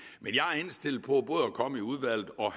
til på både at komme i udvalget og